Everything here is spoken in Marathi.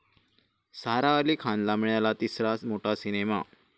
सारा अली खानला मिळाला तिसरा मोठा सिनेमा